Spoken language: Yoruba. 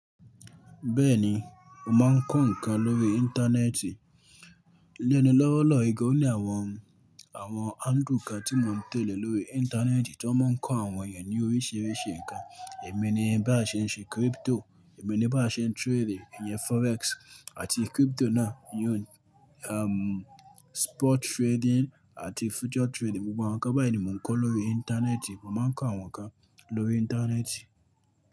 Bẹ́ẹ̀ni, mo máa ń kọ́ nǹkan lórí Íńtánẹ́ẹ̀tì. Lénu lọ́wọ́lọ́wọ́, o ní àwọn, àwọn handle kan tí mo ń tẹ̀lé lórí Íńtánẹ́ẹ̀tì tí wọ́n máa ń kọ́ àwọn èèyàn ní oríṣiríṣi nǹkan. Ẹ̀mi ni bá ṣe ń ṣe crypto, èmi ni bá ṣe ń trade ìyẹn forex àti crypto náà, ìyun, ehm, spot trading àti future trading. Gbogbo àwọn nǹkan báyìí ni mo ń kọ́ lórí Íńtánẹ́ẹ̀tì, mo máa ń kọ́ àwọn nǹkan lórí Íńtánẹ́ẹ̀tì.